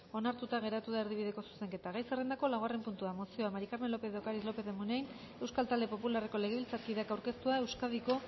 onartuta geratu da erdibideko zuzenketa gai zerrendako laugarren puntua mozioa maría del carmen lópez de ocariz lópez de munain euskal talde popularreko legebiltzarkideak aurkeztua euskadiko